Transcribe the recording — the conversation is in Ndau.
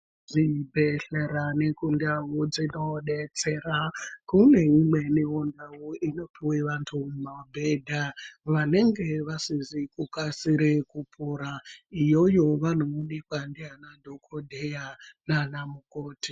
Zvibhedhlera nekundau dzinobetsera kuneimwenivo ndau inopive vantu mabhedha vanenge vasizi kukasire kupora. Iyoyo vanomubekwa ndiana dhogodheya nana mukoti.